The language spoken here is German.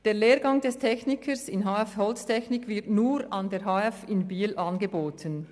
Der Lehrgang Techniker/-in HF Holztechnik wird nur an der HF Holz in Biel angeboten.